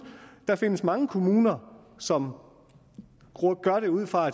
der findes måske mange kommuner som gør det ud fra